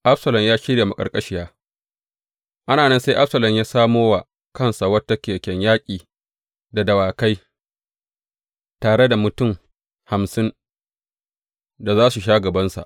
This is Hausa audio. Absalom ya shirya maƙarƙashiya Ana nan sai Absalom ya samo wa kansa wata keken yaƙi da dawakai tare da mutum hamsin da za su sha gabansa.